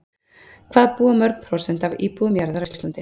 Hvað búa mörg prósent af íbúum jarðar á Íslandi?